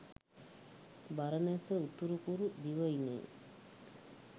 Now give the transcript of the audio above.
බරණැස උතුරුකුරු දිවයිනේ